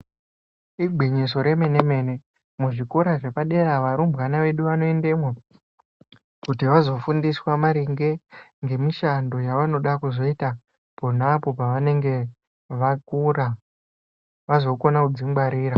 Igwinyiso remene-mene, muzvikora zvepadera, varumbwana vedu vano endemo, kuti vazofundiswe maringe nemishando yevanoda kuzoita ponapo pevanenge vakura vazokone kudzingwarira.